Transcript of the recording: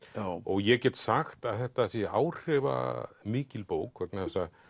ég get sagt að þetta sé áhrifamikil bók vegna þess að